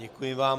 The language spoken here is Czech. Děkuji vám.